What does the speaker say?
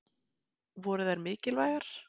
Voru þær mikilvægar?